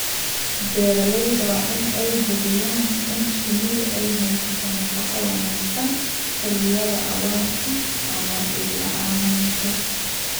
Beeralayda waa in ay hubiyaan in shinnidu ay hesho nafaqo wanaagsan xilliyada abaarta ama dhir la'aanta.